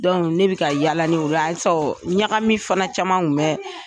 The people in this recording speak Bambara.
ne bɛ ka yaala ɲagami fana caman kun bɛ